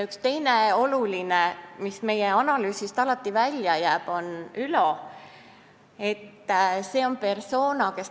Üks teine oluline persona, kes meie analüüsist alati välja jääb, on Ülo.